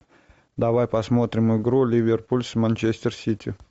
давай посмотрим игру ливерпуль с манчестер сити